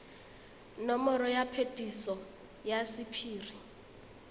nomoro ya phetiso ya sephiri